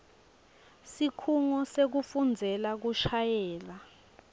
sikhungo sekufundzela kushayela